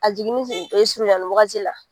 A jiginni surunyali wagati la